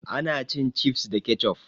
Ana cin cifs da kecof